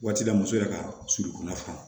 Waati la muso yɛrɛ ka surunna fana